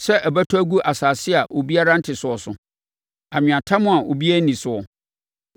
sɛ ɛbɛtɔ agu asase a obiara nte soɔ so, anweatam a obiara nni soɔ,